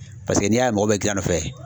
Paseke n'i y'a ye mɔgɔ bɛ girn a nɔ fɛ